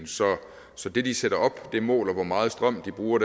så det de sætter op måler hvor meget strøm de bruger